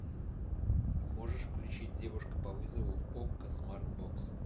можешь включить девушка по вызову окко смартбокс